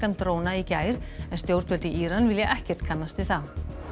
dróna í gær en stjórnvöld í Íran vilja ekkert kannast við það